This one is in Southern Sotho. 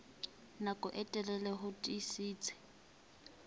nako e telele ho tiisitse